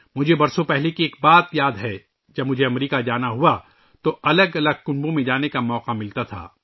مجھے سالوں پہلے کی ایک بات یاد ہے، جب میرا امریکہ جانا ہوا تو مجھے مختلف خاندانوں سے ملنے کا موقع ملتا تھا